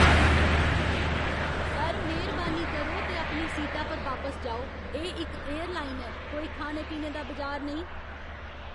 Sir, मेह्रबानी करो ते अपनी सीटा पर बापस जाओ। एह् इक एयरलाइन ऐ, कोई खाने पीने दा बजार नेईं!